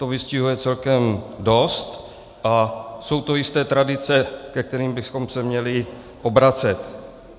To vystihuje celkem dost a jsou to jisté tradice, ke kterým bychom se měli obracet.